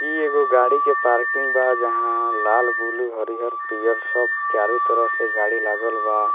इ एगो गाड़ी के पार्किंग बा जहाँ लाल ब्लू हरियर पियर सब चारो तरफ से गाड़ी लागल बा।